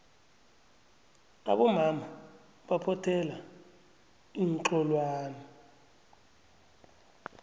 abomama baphothela iinxholwane